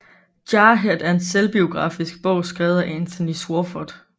Jarhead er en selvbiografisk bog skrevet af Anthony Swofford